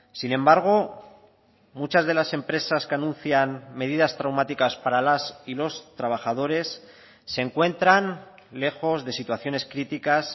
sin embargo muchas de las empresas que anuncian medidas traumáticas para las y los trabajadores se encuentran lejos de situaciones críticas